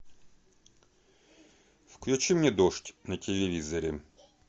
включи мне дождь на телевизоре